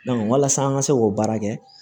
walasa an ka se k'o baara kɛ